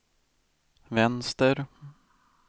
vänster